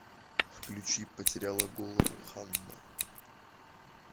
включи потеряла голову ханна